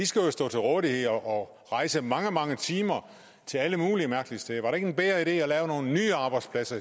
skal jo stå til rådighed og rejse mange mange timer til alle mulige mærkelige steder var det ikke en bedre idé at lave nogle nye arbejdspladser